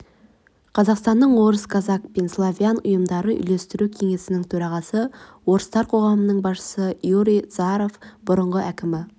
қазақстанның орыс казак пен славян ұйымдары үйлестіру кеңесінің төрағасы орыстар қоғамының басшысы юрий заіаров бұрынғы әкімі